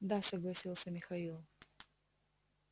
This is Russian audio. да согласился михаил